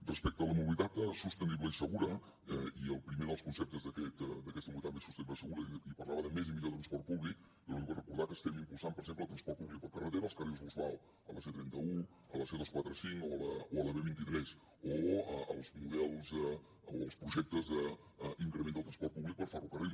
respecte a la mobilitat sostenible i segura i el primer dels conceptes d’aquesta mobilitat més sostenible segura i parlava de més i millor transport públic jo li vull recordar que estem impulsant per exemple al transport públic per carretera els carrils bus vao a la c trenta un a la c dos cents i quaranta cinc o a la b vint tres o els models o els projectes d’increment del transport públic per ferrocarril